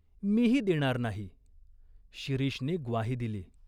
मीही देणार नाही." शिरीषने ग्वाही दिली.